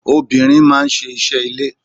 Obìnrin máa ń ṣe iṣẹ́ ilé.